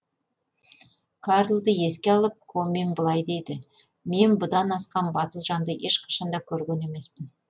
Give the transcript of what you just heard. карлды еске алып комин былай дейді мен бұдан асқан батыл жанды ешқашан да көрген емеспін